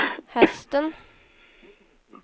hästen